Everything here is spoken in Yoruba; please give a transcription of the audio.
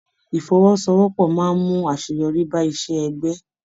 Ifọ́wọ́sowọ́pọ̀ máa n mú àṣeyọrí bá iṣẹ ẹgbẹ.